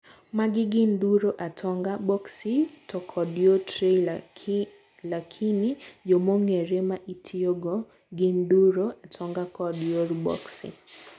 magi gin' dhuro, atonga, boxi to kod yo tray lakini yo mongere maitiyogo gin dhuro, atonga kod yor boxi.